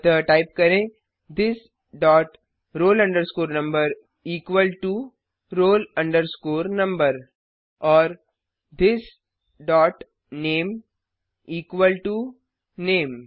अतः टाइप करें this dot roll number equal to roll number और this dot name equal to name